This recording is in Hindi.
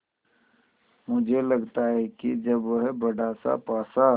मुझे लगता है कि जब वह बड़ासा पासा